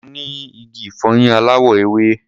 Mo ní igi ìfọyín aláwọ̀ ewé.